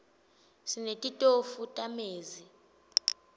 sinetitofu tamezi